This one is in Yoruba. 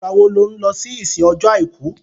Ìgbà wo lo lọ sí ìsìn ọjọ́ àìkú?